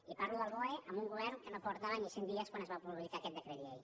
i parlo del boe amb un govern que no portava ni cent dies quan es va produir aquest decret llei